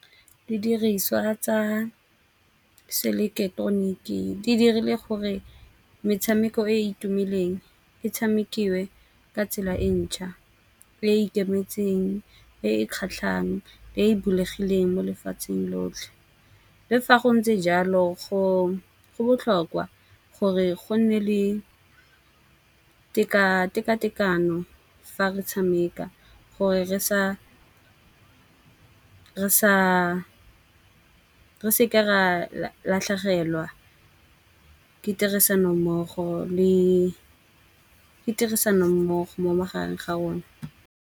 Didiriswa tsa se eleketeroniki di dirile gore metshameko e e tumileng e tshamekiwe ka tsela e ntšha. E ikemetseng, e kgatlhang e bulegileng mo lefatsheng lotlhe. Le fa go ntse jalo go botlhokwa gore go nne le tekatekano fa re tshameka, gore re sa re se ke ra latlhegelwa ke tirisanommogo le ke tirisano mmogo mo magareng ga one.